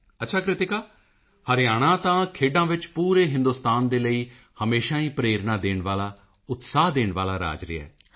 ਅੱਛਾ ਕ੍ਰਿਤਿਕਾ ਹਰਿਆਣਾ ਤਾਂ ਖੇਡਾਂ ਵਿੱਚ ਪੂਰੇ ਹਿੰਦੁਸਤਾਨ ਦੇ ਲਈ ਹਮੇਸ਼ਾ ਹੀ ਪ੍ਰੇਰਣਾ ਦੇਣ ਵਾਲਾ ਉਤਸ਼ਾਹ ਦੇਣ ਵਾਲਾ ਰਾਜ ਰਿਹਾ ਹੈ